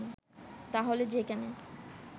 তাহলে যেখানে